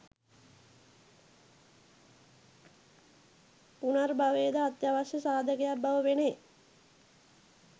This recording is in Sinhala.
පුනර්භවය ද අත්‍යවශ්‍ය සාධකයක් බව පෙනේ